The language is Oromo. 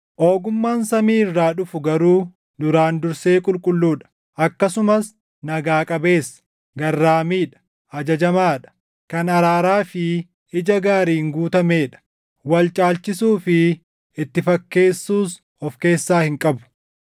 Ogummaan samii irraa dhufu garuu duraan dursee qulqulluu dha; akkasumas nagaa qabeessa; garraamii dha; ajajamaa dha; kan araaraa fi ija gaariin guutamee dha; wal caalchisuu fi itti fakkeessuus of keessaa hin qabu.